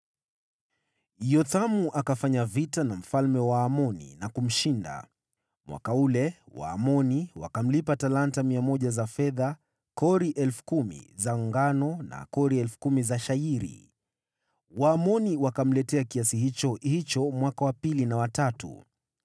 Yothamu akafanya vita na mfalme wa Waamoni na kumshinda. Mwaka ule Waamoni wakamlipa talanta 100 za fedha, kori 10,000 za ngano na kori 10,000 za shayiri. Waamoni wakamletea kiasi hicho hicho mwaka wa pili na wa tatu.